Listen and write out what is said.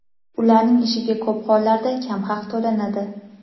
ularning ishiga ko‘p hollarda kam haq to‘lanadi.